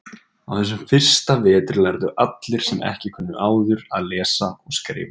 Á þessum fyrsta vetri lærðu allir, sem ekki kunnu áður, að lesa og skrifa.